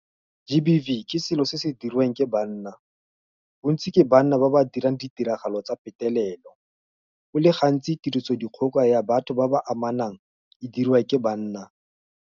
GBV ke selo se se diriwang ke banna. Bontsi ke banna ba ba dirang ditiragalo tsa petelelo. Go le gantsi tirisodikgoka ya batho ba ba amanang e diriwa ke banna.